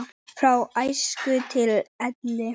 Frá æsku til elli.